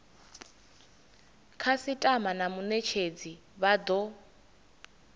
khasitama na munetshedzi vha do